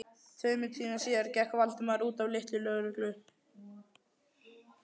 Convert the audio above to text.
Tveimur tímum síðar gekk Valdimar út af litlu lögreglu